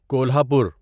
Kolhapur